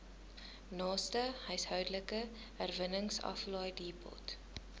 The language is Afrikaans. naaste huishoudelike herwinningsaflaaidepot